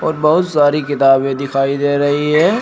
बहुत सारी किताबें दिखाई दे रही है।